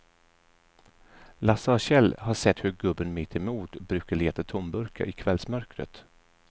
Lasse och Kjell har sett hur gubben mittemot brukar leta tomburkar i kvällsmörkret.